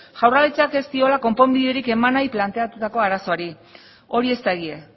jaurlaritzak ez diola konponbiderik eman nahi planteatutako arazoari hori ez da egia